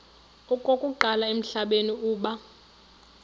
okokuqala emhlabeni uba